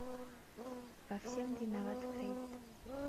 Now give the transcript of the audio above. во всем виноват фрейд